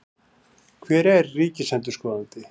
Hver er ríkisendurskoðandi?